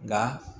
Nka